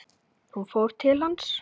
Hún fór til hans.